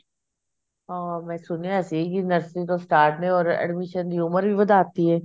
ਹਾਂ ਮੈਂ ਸੁਣਿਆ ਸੀ ਕੀ nursery ਤੋਂ start ਨੇ or admission ਦੀ ਉਮਰ ਵੀ ਵਧਾਤੀ ਐ